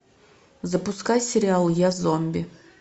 запускай сериал я зомби